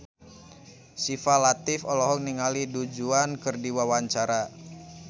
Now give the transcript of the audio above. Syifa Latief olohok ningali Du Juan keur diwawancara